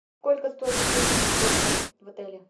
сколько стоят услуги мини гольфа в отеле